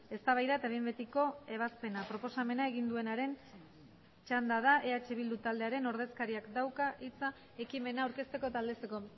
eztabaida eta behin betiko ebazpena proposamena egin duenaren txanda da eh bildu taldearen ordezkariak dauka hitza ekimena aurkezteko eta aldezteko